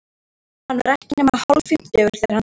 Hann var ekki nema hálffimmtugur, þegar hann dó.